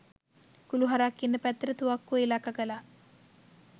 කුළු හරක් ඉන්න පැත්තට තුවක්කුව ඉලක්ක කළා